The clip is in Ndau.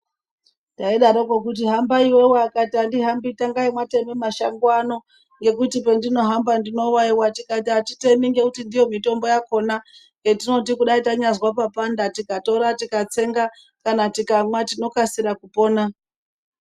Taidaroko kuti hambai iwewe, akati andihambi tangai mwatema mashango ano ngekuti pandinohamba ndinowaiwa ,tikati atitemi ngekuti ndiyo mitombo yakona yetino kudai tanyazwe papanda tikatora tikatsenga kana tikamwa tinokasira kupona.